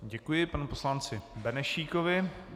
Děkuji panu poslanci Benešíkovi.